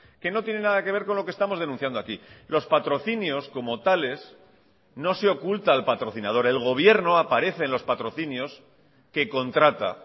que no tiene nada que ver con lo que estamos denunciando aquí los patrocinios como tales no se oculta el patrocinador el gobierno aparece en los patrocinios que contrata